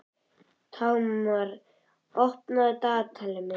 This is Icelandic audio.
Tamar, opnaðu dagatalið mitt.